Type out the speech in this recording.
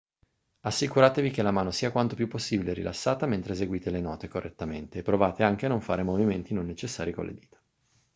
assicuratevi che la mano sia quanto più possibile rilassata mentre eseguite le note correttamente e provate anche a non fare movimenti non necessari con le dita